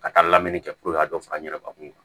Ka taa lamini kɛ puruke a ka dɔ fara n yɛrɛ ka kun kan